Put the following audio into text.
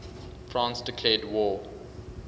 france declared war